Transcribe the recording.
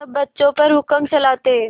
सब बच्चों पर हुक्म चलाते